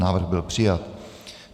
Návrh byl přijat.